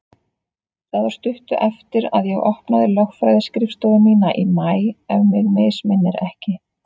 Það var stuttu eftir að ég opnaði lögfræðiskrifstofu mína í maí, ef mig misminnir ekki.